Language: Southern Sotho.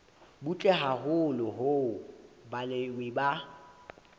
butle haholo hoo balemi ba